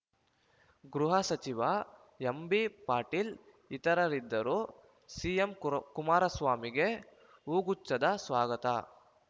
ಗೃಹ ಸಚಿವ ಎಂಬಿಪಾಟೀಲ್‌ ಇತರರಿದ್ದರು ಸಿಎಂ ಕುರ ಕುಮಾರಸ್ವಾಮಿಗೆ ಹೂಗುಚ್ಛದ ಸ್ವಾಗತ